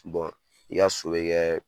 i ka so be kɛ